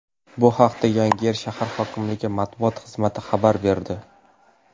Bu haqda Yangiyer shahar hokimligi matbuot xizmati xabar berdi .